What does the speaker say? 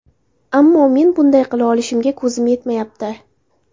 Ammo men bunday qila olishimga ko‘zim yetmayapti”.